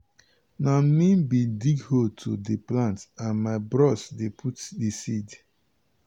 na me bin dig hole to dey plant and my bros dey put di seed.